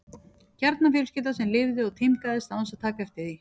Kjarnafjölskylda sem lifði og tímgaðist án þess að taka eftir því.